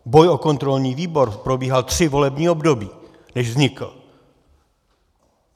Boj o kontrolní výbor probíhal tři volební období, než vznikl.